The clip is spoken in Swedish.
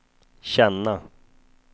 känna